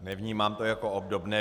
Nevnímám to jako obdobné.